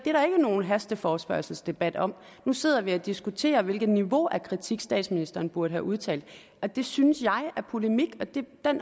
nogen hasteforespørgselsdebat om nu sidder vi og diskuterer hvilket niveau af kritik statsministeren burde have udtalt og det synes jeg er polemik og den